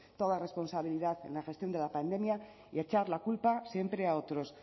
toda responsabilidad en la gestión de la pandemia y echar la culpa siempre a otros